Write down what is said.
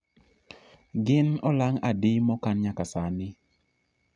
gin olang' adi mokan nyaka sani